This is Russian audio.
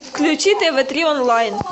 включи тв три онлайн